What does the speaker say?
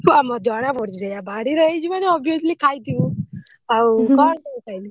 ଜଣାପଡୁଛି ସେଇଆ ବାଡିରେ ହେଇଛି ମାନେ obviously ଖାଇଥିବୁ ଆଉ କଣ ସବୁ ଖାଇଲୁ?